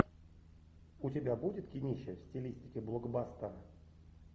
у тебя будет кинище в стилистике блокбастер